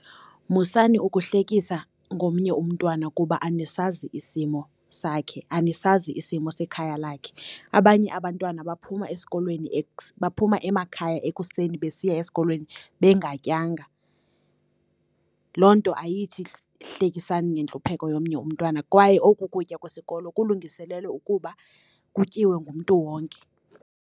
Musani ukuhlekisa ngomnye umntwana kuba anisazi isimo sakhe, anisazi isimo sekhaya lakhe. Abanye abantwana baphuma esikolweni baphuma emakhaya ekuseni besiya esikolweni bengatyanga. Loo nto ayithi hlekisani ngentlupheko yomnye umntwana, kwaye oku kutya kwesikolo kulungiselelwe ukuba kutyiwe ngumntu wonke.